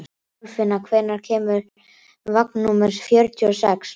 Kolfinna, hvenær kemur vagn númer fjörutíu og sex?